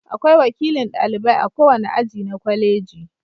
Akwai wakilin ɗalibai a kowane aji na kwaleji.